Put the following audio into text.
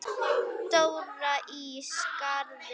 Dóra í Skarði.